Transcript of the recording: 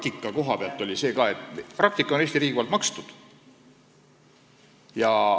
Praktika koha pealt ka seda, et praktika on Eesti riigil kinni makstud.